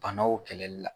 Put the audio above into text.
Banaw kɛlɛli la